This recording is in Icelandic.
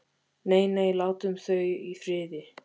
Nei, nei, látum þau í friði.